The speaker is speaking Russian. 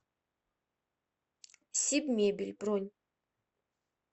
сибмебель бронь